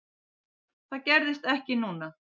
Það gerðist ekki núna.